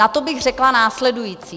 Na to bych řekla následující.